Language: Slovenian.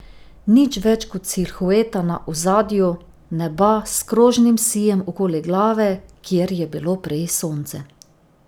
Nič več kot silhueta na ozadju neba s krožnim sijem okoli glave, kjer je bilo prej sonce.